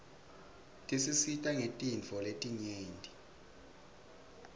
tisisita ngetintfo letinyeti